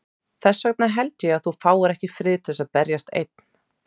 Þess vegna held ég að þú fáir ekki frið til að berjast ein.